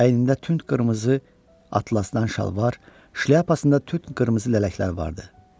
Əynində tünd qırmızı atlasdan şalvar, şlyapasında tünd qırmızı lələklər vardı.